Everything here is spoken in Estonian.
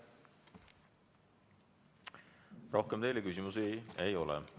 Rohkem teile küsimusi ei ole.